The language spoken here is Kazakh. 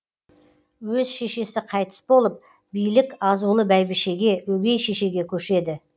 өз шешесі қайтыс болып билік азулы бәйбішеге өгей шешеге көшеді